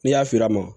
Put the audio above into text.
N'i y'a fili a ma